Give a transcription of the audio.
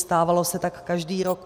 Stávalo se tak každý rok.